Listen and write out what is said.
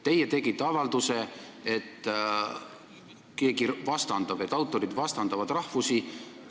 Teie tegite avalduse, et keegi vastandab, et autorid vastandavad rahvusi.